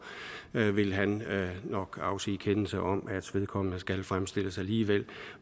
vil han nok afsige kendelse om at vedkommende skal fremstilles alligevel